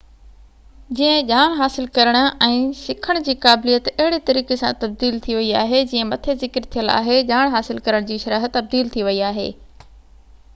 جيئن ڄاڻ حاصل ڪرڻ ۽ سکڻ جي قابليت اهڙي طريقي سان تبديل ٿي وئي آهي جيئن مٿي ذڪر ٿيل آهي ڄاڻ حاصل ڪرڻ جي شرح تبديل ٿي وئي آهي